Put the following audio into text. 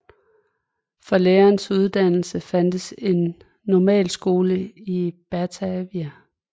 For læreres uddannelse fandtes en normalskole i Batavia